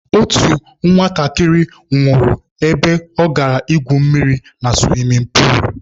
Otu nwatakịrị nwụrụ ebe ọ gara ígwù mmiri na suwimin puulu.